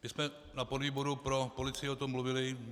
My jsme na podvýboru pro policii o tom mluvili.